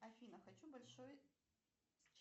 афина хочу большой